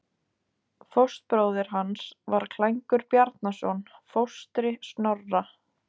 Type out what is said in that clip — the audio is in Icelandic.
Fóstbróðir hans var Klængur Bjarnason, fóstri Snorra.